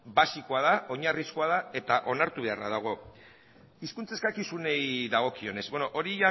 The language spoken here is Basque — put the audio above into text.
basikoa da oinarrizko da eta onartu beharra dago hizkuntza eskakizunei dagokionez hori